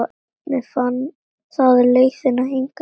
Hvernig fann það leiðina hingað?